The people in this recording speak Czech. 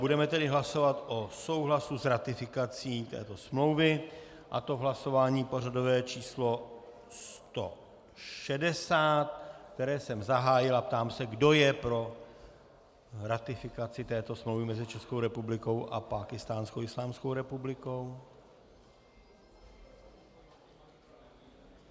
Budeme tedy hlasovat o souhlasu s ratifikací této smlouvy, a to v hlasování pořadové číslo 160, které jsem zahájil, a ptám se, kdo je pro ratifikaci této smlouvy mezi Českou republikou a Pákistánskou islámskou republikou.